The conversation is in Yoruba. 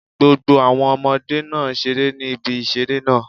Gbogbo àwọn Ọmọdé náà n seré ní ibi ìṣeré náà